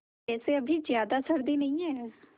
वैसे अभी ज़्यादा सर्दी नहीं है